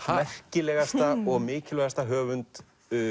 merkilegasta og mikilvægasta höfund